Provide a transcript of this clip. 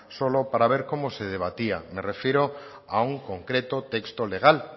solo para ver cómo se debatía me refiero a un concreto texto legal